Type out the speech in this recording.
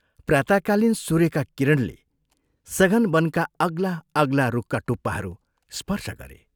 प्रातः कालीन सूर्यका किरणले सघन वनका अग्ला अग्ला रुखका टुप्पाहरू स्पर्श गरे।